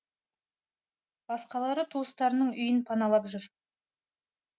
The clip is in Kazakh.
басқалары туыстарының үйін паналап жүр